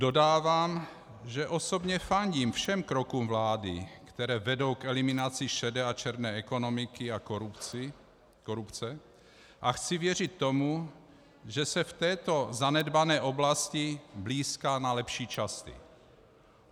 Dodávám, že osobně fandím všem krokům vlády, které vedou k eliminaci šedé a černé ekonomiky a korupce, a chci věřit tomu, že se v této zanedbané oblasti blýská na lepší časy.